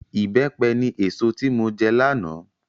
Ìbẹ́pẹ ni èso tí mo jẹ lánàá